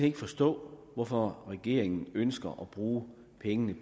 ikke forstå hvorfor regeringen ønsker at bruge pengene